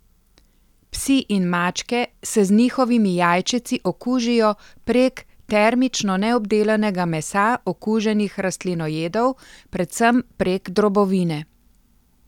Psi in mačke se z njihovimi jajčeci okužijo prek termično neobdelanega mesa okuženih rastlinojedov, predvsem prek drobovine.